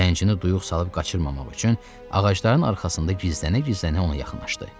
Zəncini duyuq salıb qaçırmamaq üçün ağacların arxasında gizlənə-gizlənə ona yaxınlaşdı.